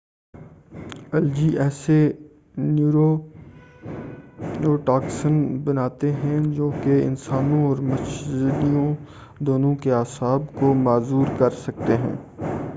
algae ایسے neurotoxin بناتے ہیں جو کہ انسانوں اور مچھلیوں دونوں کے اعصاب کو معذور کر سکتے ہیں